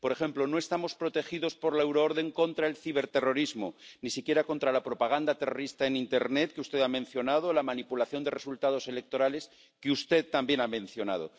Por ejemplo, no estamos protegidos por la euroorden contra el ciberterrorismo, ni siquiera contra la propaganda terrorista en internet —que usted ha mencionado— o la manipulación de resultados electorales —que usted también ha mencionado—.